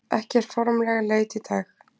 Ekki formleg leit í dag